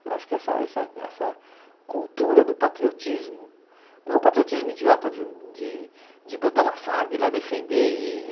Eu acho que essa essa essa cultura do patriotismo, não um patriotismo idiota de de de botar uma farda e ir lá defender e